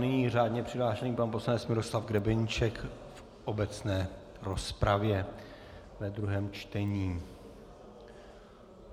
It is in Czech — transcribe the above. Nyní řádně přihlášený pan poslanec Miroslav Grebeníček v obecné rozpravě ve druhém čtení.